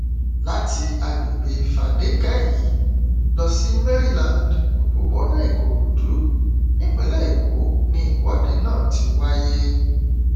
láti àgbègbè fadékẹyí lọ sí maryland òpópónà ìkòròdú nípínlẹ èkó ni ìwọde náà ti wáyé